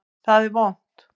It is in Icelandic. Það er vont.